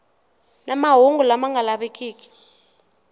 na mahungu lama nga lavikiki